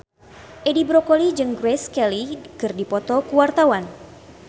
Edi Brokoli jeung Grace Kelly keur dipoto ku wartawan